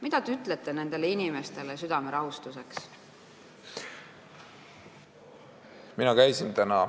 Mida te nendele inimestele südame rahustuseks ütlete?